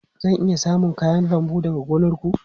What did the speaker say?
Zan iya samun kayan lambu daga gonar ku?